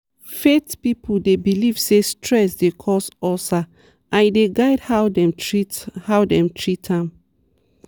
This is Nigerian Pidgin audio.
faith people dey believe say stress dey cause ulcer and e dey guide how dem treat how dem treat am.